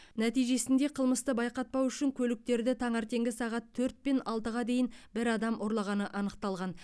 нәтижесінде қылмысты байқатпау үшін көліктерді таңертеңгі сағат төрт пен алтыға дейін бір адам ұрлағаны анықталған